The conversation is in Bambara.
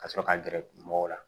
Ka sɔrɔ ka gɛrɛ mɔgɔw la